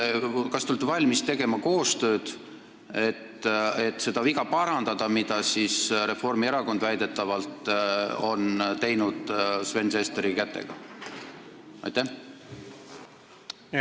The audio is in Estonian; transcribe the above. Kas te olete valmis tegema koostööd, et parandada seda viga, mida Reformierakond on väidetavalt Sven Sesteri kätega teinud?